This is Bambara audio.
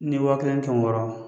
Ni wa kelen ni kɛmɛ wɔɔrɔ